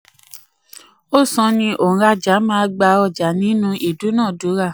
19. ó san ni um òǹrajà máa gba ọjà nínú ìdúnnàdúnrà.